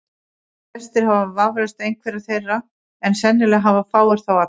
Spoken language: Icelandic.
Flestir hafa vafalaust einhverja þeirra, en sennilega hafa fáir þá alla.